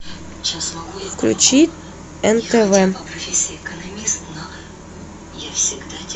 включи нтв